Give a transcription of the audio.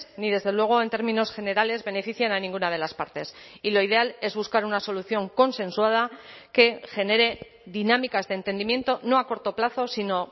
ni desde luego en términos generales benefician a ninguna de las partes y lo ideal es buscar una solución consensuada que genere dinámicas de entendimiento no a corto plazo sino